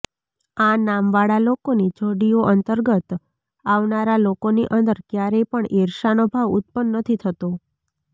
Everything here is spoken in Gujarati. આ નામવાળા લોકોની જોડીઓ અંતર્ગત આવનારા લોકોની અંદર કયારેય પણ ઈર્ષાનો ભાવ ઉત્પન્ન નથી થતો